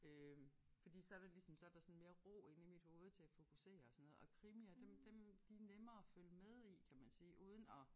Øh fordi så det ligesom så der sådan mere ro inde i mit hoved til at fokusere og sådan noget og krimier dem dem de nemmere at følge med i kan man sige uden at